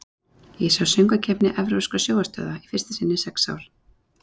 Ég sá Söngvakeppni evrópskra sjónvarpsstöðva í fyrsta sinn í sex ár.